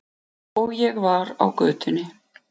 Og ég var á götunni.